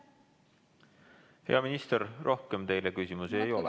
Hea minister, rohkem teile küsimusi ei ole.